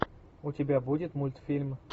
у тебя будет мультфильм